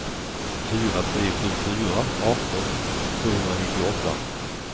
fyra tre sju fyra arton tvåhundranittioåtta